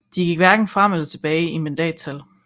De gik hverken frem eller tilbage i mandattal